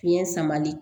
Fiɲɛ samali